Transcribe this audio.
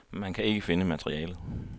Man kan ikke finde materialet.